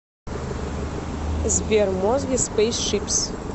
сбер мозги спейс шипс